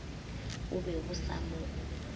bo be bo sa mo